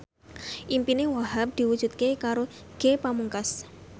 impine Wahhab diwujudke karo Ge Pamungkas